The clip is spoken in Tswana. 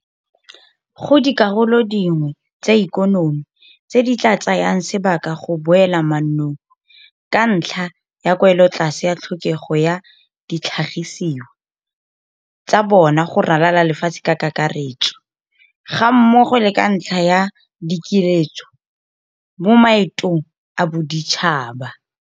Go dikarolo dingwe tsa ikonomi tse di tla tsayang sebaka go boela mannong ka ntlha ya kwelotlase ya tlhokego ya ditlhagisiwa tsa bona go ralala lefatshe ka kakaretso, gammogo le ka ntlha ya dikiletso mo maetong a boditšhaba.